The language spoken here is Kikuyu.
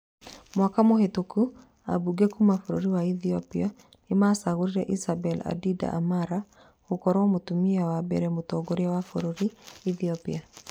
Mwaka mũhĩtũku ambunge kuuma bũrũri wa Ethiopia nĩmaracagũrire Isabel Aida Amara gũkorwo mũtumia wa mbere mũtongoria wa bũrũri, Ethiopia